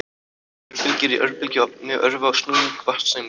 Örbylgjur í örbylgjuofni örva snúning vatnssameinda.